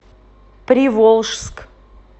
приволжск